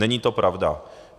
Není to pravda.